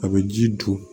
A bɛ ji don